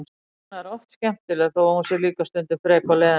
Anna er oft skemmtileg þó að hún sé líka stundum frek og leiðinleg.